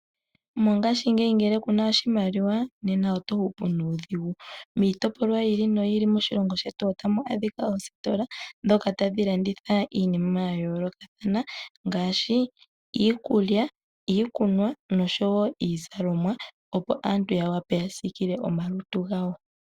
Mongaashingeyi ngele ku na oshimaliwa, nena oto hupu nuudhigu. Miitopolwa yiili noyiili moshilongo shetu ota mu adhika oositola ndhoka tadhi landitha iinima ya yoolokathana ngaashi iikulya, iikunwa noshowo iizalomwa opo aantu ya wape yasiikile omalutu gawo.